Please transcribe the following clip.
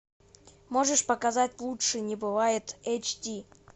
можешь показать лучше не бывает эйч ди